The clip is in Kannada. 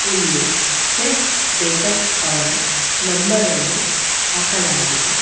ಇಲ್ಲಿ ಚೆಫ್ ಬೇಕರ್ಸ್ ಅವರ ನಂಬರ್ ಅನ್ನು ಹಾಕಲಾಗಿದೆ.